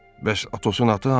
Bəs Atosun atı hanı?